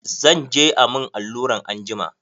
Zan je a mun alluran anjima.